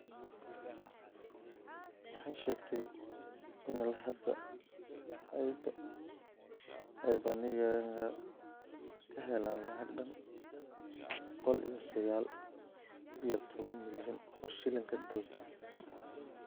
Waxay sheegtay inilaa hadda aybangiga kaheleen lacag dhan boqoliyo sagaal iyotoban milyan oo shilinka dalka.